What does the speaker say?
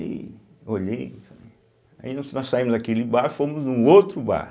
E olhei, falei, aí nós nós saímos daquele bar e fomos num outro bar.